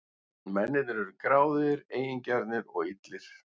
Mennirnir urðu gráðugir, eigingjarnir og illir.